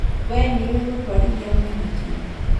Wee nĩũĩ gũtwarithia mũithikiri